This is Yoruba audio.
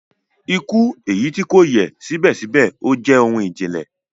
Ikú, eyi ti kò ṣè yẹ sibẹsibẹ ojè ohun ijìnlẹ